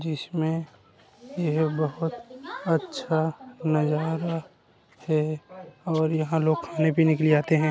जिसमे यह बहोत अच्छा नज़ारा है और यह लोग खाने पीने के लिए आते हैं।